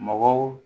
Mɔgɔw